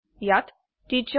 ইয়াত টিচাৰ